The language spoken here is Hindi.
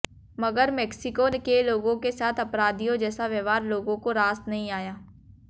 मगर मेक्सिको के लोगों के साथ अपराधियों जैसा व्यवहार लोगों को रास नहीं आया